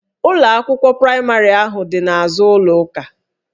Ụlọ akwụkwọ praịmarị ahụ dị n'azụ ụlọ ụka